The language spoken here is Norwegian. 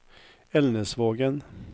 Elnesvågen